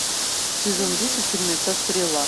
сезон десять фильмеца стрела